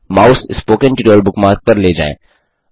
mouse spoken tutorial bookmark पर ले जाएँ